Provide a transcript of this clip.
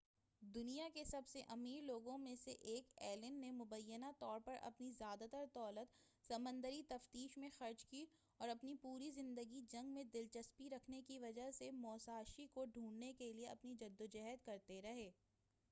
دنیا کے سب سے امیر لوگوں میں سے ایک ایلن نے مبینہ طور پر اپنی زیادہ تر دولت سمندری تفتیش میں خرچ کی اور اپنی پوری زندگی جنگ میں دلچسپی رکھنے کی وجہ سے موساشی کو ڈھونڈنے کیلئے اپنی جدوجہد کرتے رہے